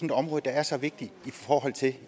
et område der er så vigtigt for